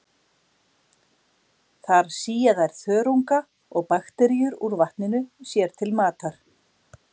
Þar sía þær þörunga og bakteríur úr vatninu sér til matar.